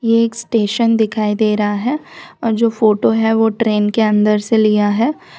एक स्टेशन दिखाई दे रहा है और जो फोटो है वो ट्रेन के अंदर से लिया है।